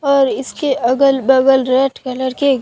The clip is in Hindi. और इसके अगल बगल रेड कलर के--